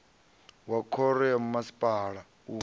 wa khoro ya masipala u